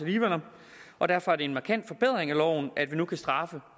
og derfor er det en markant forbedring af loven at vi nu kan straffe